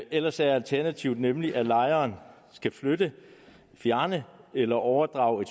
ellers er alternativet nemlig at lejeren skal flytte fjerne eller overdrage